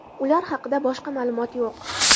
Ular haqida boshqa ma’lumot yo‘q.